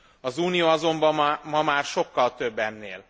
Az Unió azonban ma már sokkal több ennél.